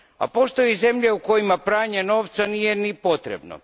A postoje zemlje u kojima pranje novca nije ni potrebno.